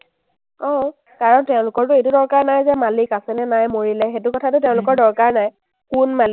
অ, কাৰণ তেওঁলোকৰটো এইটো দৰকাৰ নাই যে মালিক আছে নে নাই মৰিলে, সেইটো কথাটো তেওঁলোকৰ দৰকাৰ নাই কোন মালিক।